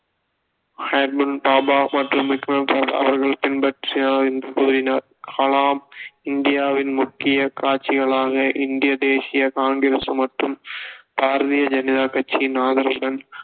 Homi J Bhabha மற்றும் விகரம் சராபாய் அவர்களை பின்பற்றினார் என்று கூறினார் கலாம் இந்தியாவின் முக்கியக் காட்சிகளான இந்திய தேசிய காங்கிரஸ் மற்றும் பாரதிய ஜனதா கட்சியின் ஆதரவுடன்